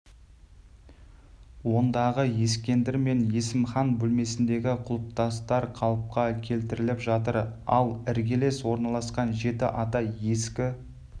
ондағы ескендір мен есімхан бөлмесіндегі құлпытастар қалыпқа келтіріліп жатыр ал іргелес орналасқан жеті ата ескі